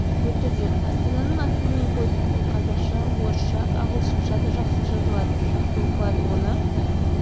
өтіп жүр астананың атын мен қойдым олқазақша орысша ағылшынша да жақсы жазылады жақсы оқылады оны